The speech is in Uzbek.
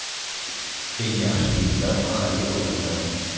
Eng yaxshi gidlar mahalliy odamlar.